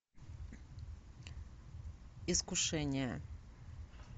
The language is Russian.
искушение